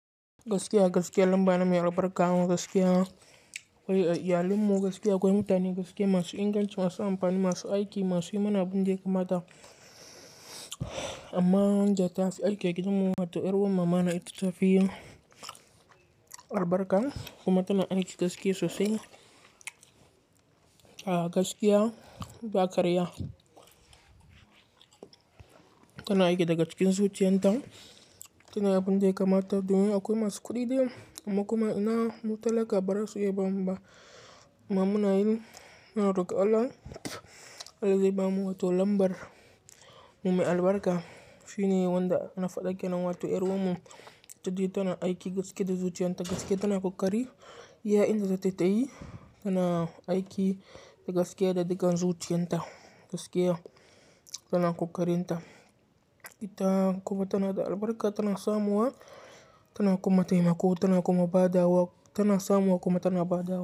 Gaskiya, gaskiya lamba na mai albarka gaskiya. Wai a iyalinsu gaskiya akwai mutane gaskiya masu inganci, masu amfani, masu aiki, masu yi mana abin da ya kamata. Amma wanda tafi aiki a gidanmu, wato ƴar uwar mamana ita ta fi albarka kuma tana aiki gaskiya sosai. A gaskiya ba ƙarya. Tana aiki daga cikin zuciyanta, tana yin abin da ya kamata. Domin akwai masu kuɗi dai amma kuma ina mu tallaka bara su iya bamu ba. Amma muna yin muna roƙon Allah, Allah zai bamu wato lambar mume albarka. Shi ne wanda na faɗa ke nan wato ƴar uwarmu, ita duk tana aiki gaskiya da zuciyanta, gaskiya tana ƙoƙari. Iya inda zatayi tayi tana aiki da gaskiya da dukan zuciyanta, gaskiya tana ƙoƙarin ta. Ita kuma tana da albarka, tana samuwa, tana kuma taimako, tana kuma ba da wa, tana samuwa kuma tana ba dawa.